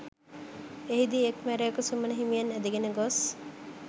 එහිදී එක්‌ මැරයකු සුමන හිමියන් ඇදගෙන ගොස්